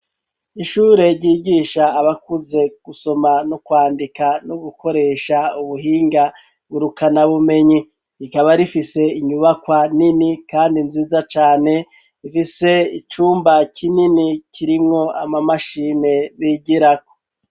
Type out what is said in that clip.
Ishure ryigisha abakuze gusoma no kwandika no gukoresha ubuhinga ngurukana bumenyi rikaba rifise inyubakwa nini kandi nziza cane rifise icumba kinini kirimwo amamashime bigirako.